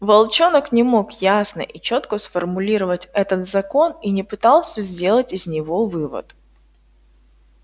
волчонок не мог ясно и чётко сформулировать этот закон и не пытался сделать из него вывод